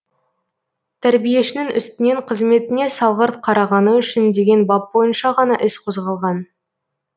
тәрбиешінің үстінен қызметіне салғырт қарағаны үшін деген бап бойынша ғана іс қозғалған